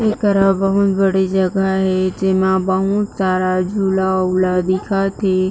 ऐकरा बहुत बड़ी जगह हे जेमा बहुत सारा झूला उला दिखत हे।